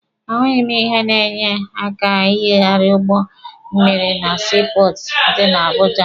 A hụghị m ihe na-enye aka ịnyagharị ụgbọ mmịrị na sii pọọtụ dị na Abuja.